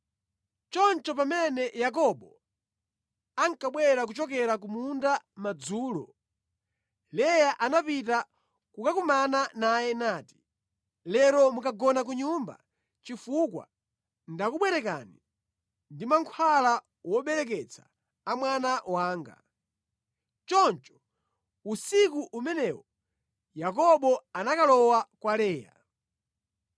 Choncho pamene Yakobo ankabwera kuchokera ku munda madzulo, Leya anapita kukakumana naye nati, “Lero mukagona ku nyumba chifukwa ndakubwerekani ndi mankhwala wobereketsa a mwana wanga.” Choncho usiku umenewo Yakobo anakalowa kwa Leya.